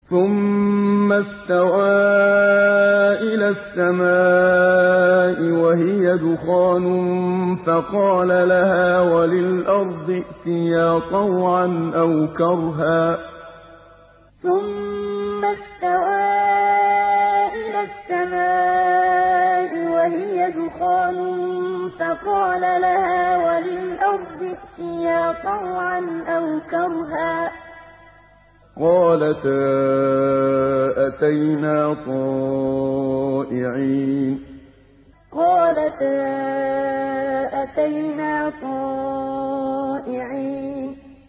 ثُمَّ اسْتَوَىٰ إِلَى السَّمَاءِ وَهِيَ دُخَانٌ فَقَالَ لَهَا وَلِلْأَرْضِ ائْتِيَا طَوْعًا أَوْ كَرْهًا قَالَتَا أَتَيْنَا طَائِعِينَ ثُمَّ اسْتَوَىٰ إِلَى السَّمَاءِ وَهِيَ دُخَانٌ فَقَالَ لَهَا وَلِلْأَرْضِ ائْتِيَا طَوْعًا أَوْ كَرْهًا قَالَتَا أَتَيْنَا طَائِعِينَ